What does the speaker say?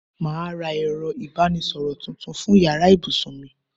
Màá ra ẹ̀rọ ìbánisọ̀rọ̀ tuntun fún yàrá ibùsùn mi